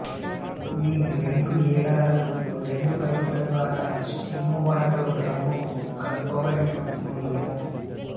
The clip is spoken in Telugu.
ఈ రెండు హేడరులు రెండు పైపుల ద్వారా స్టీము వాటరు డ్రమ్ముకు కలుపబడి వుండును